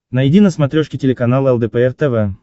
найди на смотрешке телеканал лдпр тв